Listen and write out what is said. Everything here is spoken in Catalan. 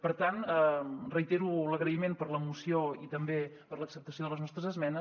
per tant reitero l’agraïment per la moció i també per l’acceptació de les nostres esmenes